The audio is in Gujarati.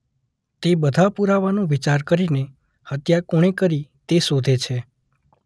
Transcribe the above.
તે બધાં પૂરાવાનો વિચાર કરીને હત્યા કોણે કરી તે શોધે છે.